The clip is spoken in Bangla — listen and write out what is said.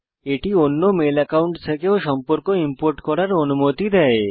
এটি অন্য মেল অ্যাকাউন্ট থেকেও সম্পর্ক ইম্পোর্ট করার অনুমতি দেয়